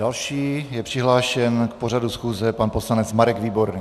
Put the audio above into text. Další je přihlášen k pořadu schůze pan poslanec Marek Výborný.